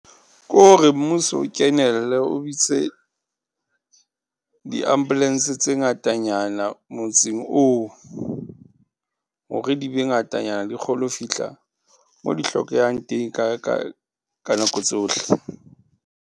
Kore mmuso o kenelle, o bitse di-ambulance tse ngata nyana motseng oo. Hore di be ngata nyana di kgone ho fihla mo di hlokehang teng, kae, kae ka nako tsohle.